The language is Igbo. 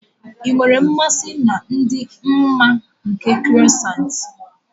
Ị nwere mmasị na ịdị mma nke croissants.